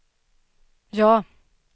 ja